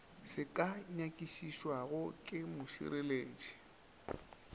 se ka nyakišišwago ke mošireletši